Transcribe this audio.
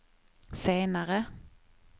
senare